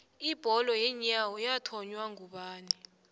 ibholo yeenyawo yathonywa ngubani